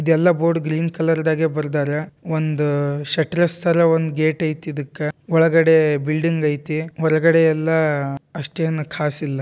ಇದೆಲ್ಲಾ board green colour ದಾಗ ಬರೆದಾರ ಒಂದು ಶಟರ್ ಥರ ಒಂದ್ ಗೇಟ್ ಐತೆ ಇದಕ್ಕ. ಒಳಗಡೆ ಬಿಲ್ಡಿಂಗ್ ಐತಿ ಒಳಗಡೆ ಎಲ್ಲಾ ಅಷ್ಟೇನೂ ಖಾಸ್ ಇಲ್ಲ.